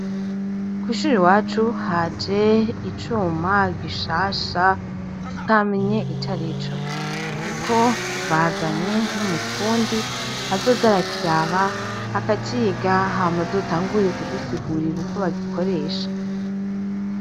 Kwishure iwacu haje icuma gishasha tutamenye icarico ariko bazanye n'umufundi azoza araciga hama azotangure kudusigurira uko bagikoresha .